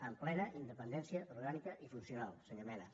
amb plena independència orgànica i funcional senyor mena